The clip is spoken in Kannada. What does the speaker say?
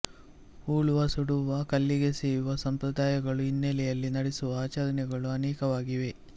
ಹೂಳುವ ಸುಡುವ ಕಲ್ಲಿಗೆಸೆಯುವ ಸಂಪ್ರದಾಯಗಳ ಹಿನ್ನೆಲೆಯಲ್ಲಿ ನಡೆಸುವ ಆಚರಣೆಗಳು ಅನೇಕವಾಗಿವೆ